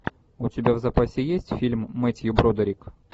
у тебя в запасе есть фильм метью бродерик